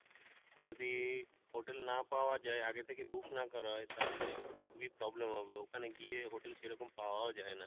যদি hotel না পাওয়া যাই আগে থেকে book না করা হয় তাহলে খুবই problem হবে ওখানে গিয়ে hotel সেরকম পাওয়াও যাই না।